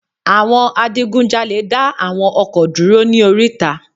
Àwọn adigun jalè dá àwọn ọkọ̀ dúró ní oríta